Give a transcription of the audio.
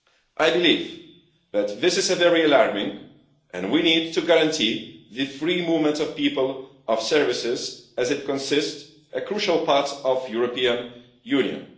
I believe that this is very alarming, and we need to guarantee the free movement of people and services, as this comprises a crucial part of European Union.